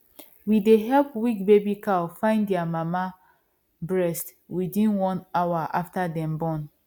we dey help weak baby cow find their mama breast within one hour after dem born